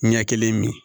Ɲɛ kelen min